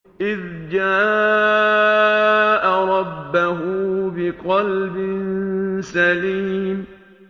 إِذْ جَاءَ رَبَّهُ بِقَلْبٍ سَلِيمٍ